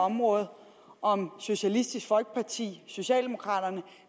område om socialistisk folkeparti socialdemokraterne